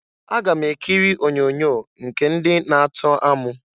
Aga m ekiri onyoonyo nke ndị na-atọ amụ.